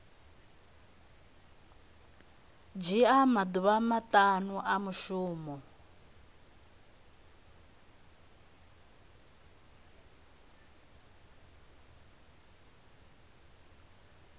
dzhia maḓuvha maṱanu a mushumo